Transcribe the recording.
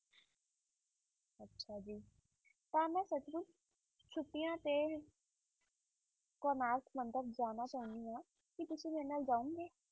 ਤਾਂ ਮੈਂ ਸੱਚਮੁੱਚ ਛੁੱਟੀਆਂ ਤੇ ਕੋਨਾਰਕ ਮੰਦਿਰ ਜਾਣਾ ਚਾਹੁੰਦੀ ਹਾਂ, ਕੀ ਤੁਸੀਂ ਮੇਰੇ ਨਾਲ ਜਾਓਗੇ?